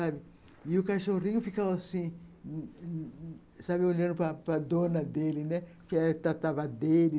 E o cachorrinho ficava assim, olhando para a dona dele, né, que tratava dele.